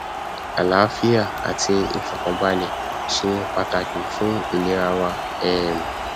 àláfíà àti ìfọkànbalẹ ṣe pàtàkìfún ìlera wa um